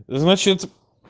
значит